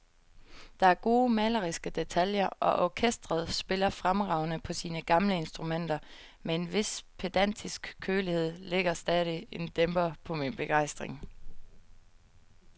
Der er gode maleriske detaljer, og orkestret spiller fremragende på sine gamle instrumenter, men en vis pedantisk kølighed lægger stadig en dæmper på min begejstring.